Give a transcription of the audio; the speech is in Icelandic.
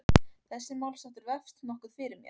Þessi málsháttur vefst nokkuð fyrir mér.